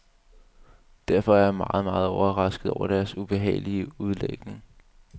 Derfor er jeg meget, meget overrasket over deres ubehagelige udlægning.